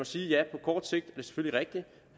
sige at ja på kort sigt er det selvfølgelig rigtigt